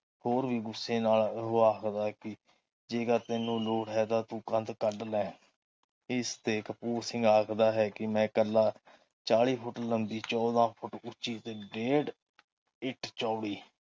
ਹੋਰ ਵੀ ਗੁੱਸੇ ਨਾਲ ਉਹ ਆਖਦਾ ਕੇ ਜੇਕਰ ਤੈਨੂੰ ਲੋੜ ਹੈ ਤਾ ਤੂੰ ਕੰਧ ਕਢਲੇ ਇਸਤੇ ਕਪੂਰ ਸਿੰਘ ਆਖਦਾ ਹੈ ਕੇ ਮੈਂ ਇਕੱਲਾ ਚਾਲੀ ਫੁੱਟ ਲੰਬੀ ਚੋਦਾ ਫੁੱਟ ਉੱਚੀ ਡੇਢ਼ ਇੱਟ ਚੋੜੀ